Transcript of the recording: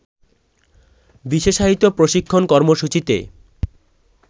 বিশেষায়িত প্রশিক্ষণ কর্মসূচিতে